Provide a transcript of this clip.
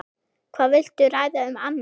Hvað viltu ræða um annað?